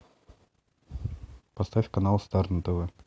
поставь канал стар на тв